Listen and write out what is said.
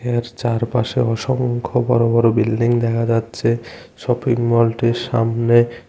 এর চারপাশে অসংখ্য বড় বড় বিল্ডিং দেখা যাচ্ছে শপিংমলটির সামনে।